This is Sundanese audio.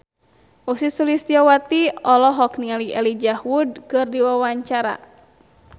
Ussy Sulistyawati olohok ningali Elijah Wood keur diwawancara